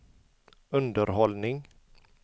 underhållning